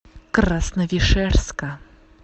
красновишерска